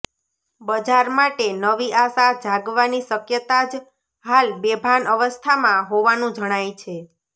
બજાર માટે નવી આશા જાગવાની શકયતા જ હાલ બેભાન અવસ્થામાં હોવાનું જણાય છે